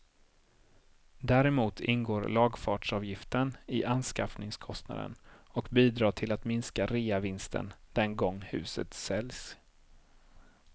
Däremot ingår lagfartsavgiften i anskaffningskostnaden och bidrar till att minska reavinsten den gång huset säljs.